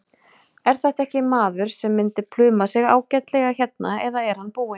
Er þetta ekki maður sem myndi pluma sig ágætlega hérna eða er hann búinn?